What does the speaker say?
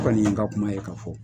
O kɔni ye n ka kuma ye ka fɔ.